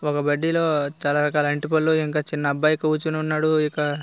ఒక బడ్డీలో చాలా రకాలా అరటి పళ్ళు ఇంకా ఒక చిన్న అబ్బాయి కూర్చుని ఉన్నాడు. ఇంకా--